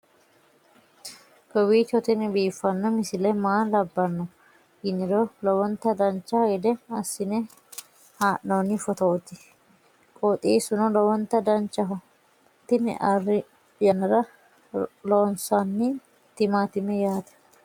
kowiicho tini biiffanno misile maa labbanno yiniro lowonta dancha gede assine haa'noonni foototi qoxeessuno lowonta danachaho. tini arri yannara loonsanni timaatimeti yaate